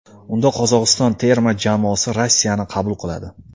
Unda Qozog‘iston terma jamoasi Rossiyani qabul qiladi.